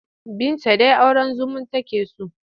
Binta dai auren zumun take so.